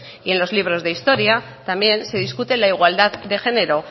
y en los libros de historia también se discute la igualdad de género